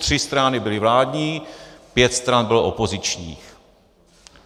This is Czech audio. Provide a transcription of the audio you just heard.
Tři strany byly vládní, pět stran bylo opozičních.